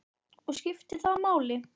Og skiptir það máli?